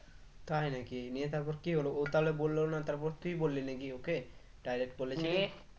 তাই নাকি নিয়ে তারপর কি হলো ও তালে বললো না তারপর তুই বললি নাকি ওকে direct